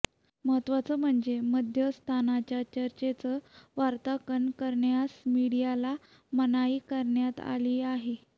महत्त्वाचं म्हणजे मध्यस्थांच्या चर्चेचं वार्तांकन करण्यास मीडियाला मनाई करण्यात आली आहे